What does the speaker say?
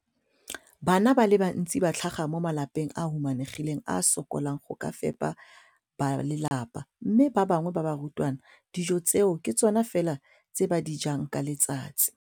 Bana ba le bantsi ba tlhaga mo malapeng a a humanegileng a a sokolang go ka fepa ba lelapa mme ba bangwe ba barutwana, dijo tseo ke tsona fela tse ba di jang ka letsatsi.